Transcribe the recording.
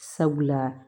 Sabula